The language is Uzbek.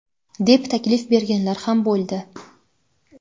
deb taklif berganlar ham bo‘ldi.